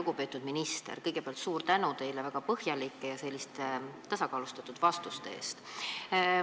Lugupeetud minister, kõigepealt suur tänu teile väga põhjalike ja tasakaalustatud vastuste eest!